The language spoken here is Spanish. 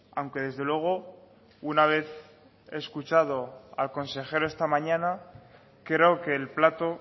aunque desde luego una vez escuchado al consejero esta mañana creo que el plato